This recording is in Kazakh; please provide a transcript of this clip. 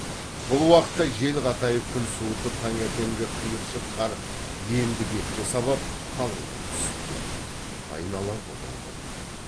бұл уақытта жел қатайып күн суытып таңертеңгі қиыршық қар енді бетке сабап қалыңдап түсіп тұр айнала бұлыңғыр